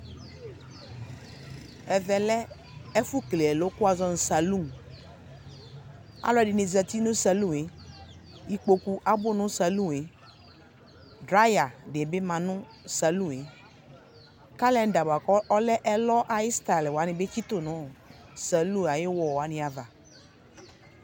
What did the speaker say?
Ɛvɛ lɛ ɛfʋ kele ɛlɔ kʋ wazɔ nʋ salʋ Alʋ ɛdini zati nʋ salʋ e Ikpoku abʋ nʋ salʋ e Draya di bi ma nʋ salʋ e Kalɛnda boa kʋ ɔlɛ ɛlɔ ayu sitayi wani bi tsitʋ nʋ salʋ ayu wɔlʋ wani ava